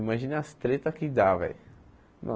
Imagina as tretas que dá, velho.